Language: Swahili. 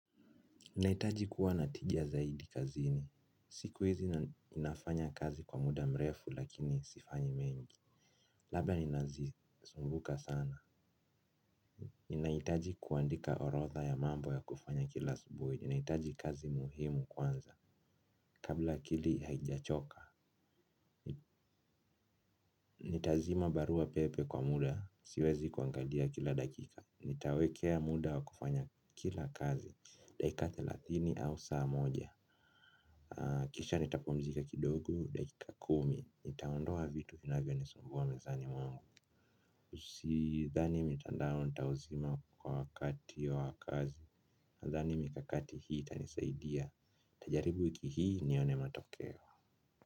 Nahitaji kuwa na tija zaidi kazini. Siku hizi inafanya kazi kwa muda mrefu lakini sifanyi mengi. Laba ninazisumbuka sana. Ninahitaji kuandika orodha ya mambo ya kufanya kila asubuhi. Ninahitaji kazi muhimu kwanza. Kabla akili haijachoka. Nitazima barua pepe kwa muda. Siwezi kuangalia kila dakika. Nitawekea muda wa kufanya kila kazi. Daika thelathini au saa moja. Kisha nitapumzika kidogo dakika kumi, nitaondoa vitu inavyo nisumbua mezani mwangu Usidhani mitandao nitauzima kwa wakati wa kazi, nadhani mikakati hii itanisaidia, nitajaribu wiki hii nione matokeo.